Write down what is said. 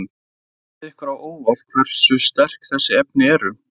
Kemur það ykkur á óvart hversu sterk þessi efni eru?